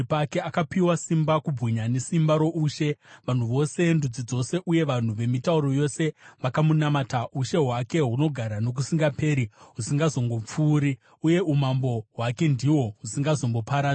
Akapiwa simba, kubwinya nesimba roushe; vanhu vose, ndudzi dzose uye vanhu vemitauro yose vakamunamata. Ushe hwake hunogara nokusingaperi husingatongopfuuri, uye umambo hwake ndihwo husingazomboparadzwi.